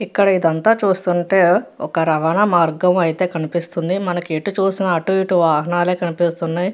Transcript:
ఇక్కడ ఏది అనన్త చుస్తునునతే ఏది రావణ మార్గము కనిపెస్తునది.